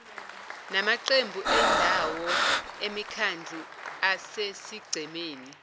namaqembu endawo emikhandluasesigcemeni